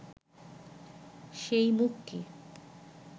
সেই মুখকে